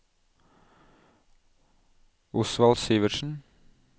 Osvald Sivertsen